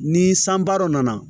Ni sanba dɔ nana